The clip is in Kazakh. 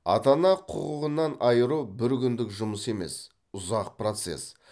ата ана құқығынан айыру бір күндік жұмыс емес ұзақ процесс